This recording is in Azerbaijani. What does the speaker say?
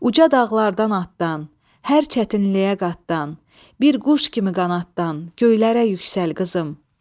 Uca dağlardan atdan, hər çətinliyə qatdan, bir quş kimi qanaddan göylərə yüksəl qızım.